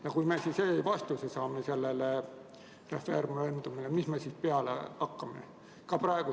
Ja kui me saame referendumil sellele vastuse, mis me siis peale hakkame?